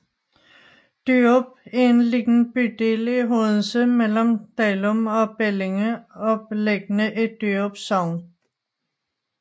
Dyrup er en lille bydel i Odense mellem Dalum og Bellinge og beliggende i Dyrup Sogn